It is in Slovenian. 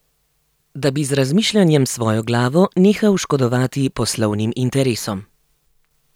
Da bi z razmišljanjem s svojo glavo nehal škodovati poslovnim interesom.